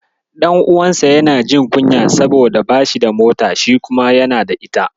Ɗan'uwansa yana jin kunya saboda bashi da mota, shi kuma yana da ita.